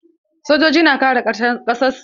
Sojoji na kare ƙasar su.